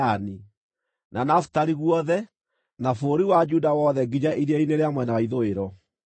na Nafitali guothe, na bũrũri wa Efiraimu na wa Manase, na bũrũri wothe wa Juda wothe nginya iria-inĩ rĩa mwena wa ithũĩro,